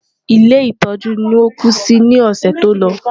Ilé ìtọ́jú ni ó kú sí ní ọ̀sẹ̀ tó lọ.